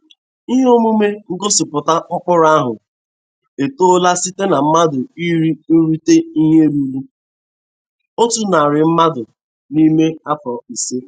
Ihe omume ngosịpụta mkpụrụ ahụ etola site na mmadụ iri irute ihe ruru otu narị mmadụ n'ime afọ ise.